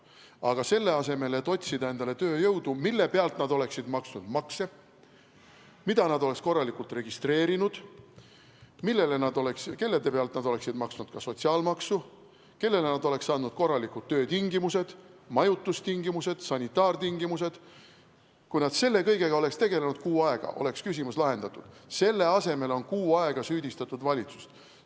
Aga selle asemel, et otsida endale tööjõudu, kelle pealt nad oleksid maksnud makse, keda nad oleks korralikult registreerinud, kelle pealt nad oleks maksnud ka sotsiaalmaksu, kellele nad oleks loonud korralikud töötingimused, majutustingimised, sanitaartingimused – kui nad selle kõigega oleks tegelenud kuu aega, oleks küsimus lahendatud –, on kuu aega süüdistatud valitsust.